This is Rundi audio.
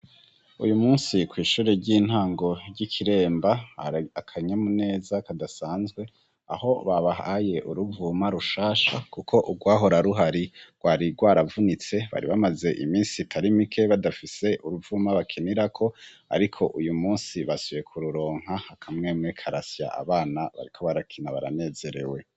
Uyu musi kw'ishure ry'intango ry'i Kiremba, hari akanyamuneza kadasanzwe, aho babahaye uruvuma rushasha kuko urwahora ruhari rwari rwaravunitse, bari bamaze imisi itari mike badafise uruvuma bakinirako ariko uyu musi basubiye kururonka akamwemwe karasya, abana bariko barakina baranezerewe.